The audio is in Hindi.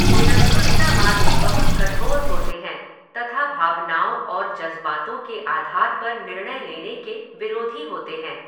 निरंकुशतावादी बहुत कठोर होते हैं तथा भावनाओं और जज़्बातों के आधार पर निर्णय लेने के विरोधी होते हैं।